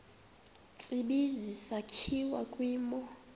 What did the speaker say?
tsibizi sakhiwa kwimo